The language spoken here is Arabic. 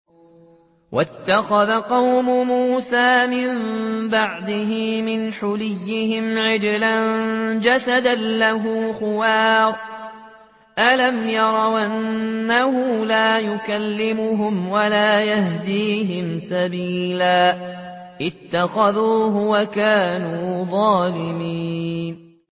وَاتَّخَذَ قَوْمُ مُوسَىٰ مِن بَعْدِهِ مِنْ حُلِيِّهِمْ عِجْلًا جَسَدًا لَّهُ خُوَارٌ ۚ أَلَمْ يَرَوْا أَنَّهُ لَا يُكَلِّمُهُمْ وَلَا يَهْدِيهِمْ سَبِيلًا ۘ اتَّخَذُوهُ وَكَانُوا ظَالِمِينَ